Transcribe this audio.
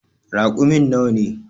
Raƙumin nawa ne.